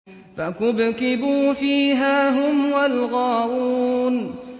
فَكُبْكِبُوا فِيهَا هُمْ وَالْغَاوُونَ